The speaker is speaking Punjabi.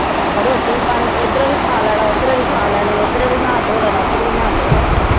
ਰੋਟੀ ਪਾਣੀ ਇੱਧਰੋ ਵੀ ਖਾ ਲੈਣਾ ਉੱਧਰੋ ਵੀ ਖਾ ਲੈਣੀ, ਇੱਧਰੋਂ ਵੀ ਨਹਾ ਧੋ ਲੈਣਾ, ਉੱਧਰੋਂ ਵੀ ਨਹਾ ਧੋ ਲੈਣਾ